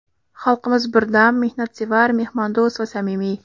Xalqimiz birdam, mehnatsevar, mehmondo‘st va samimiy.